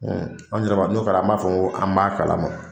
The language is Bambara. an yɛrɛ b'a, n'o kɛra an b'a fɔ ko an b'a kalama.